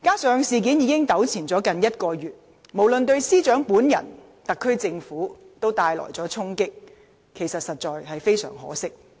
事件已糾纏近1個月，無論對司長本人及特區政府，也帶來了衝擊，實在非常可惜。